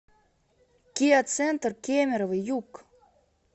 киа центр кемерово юг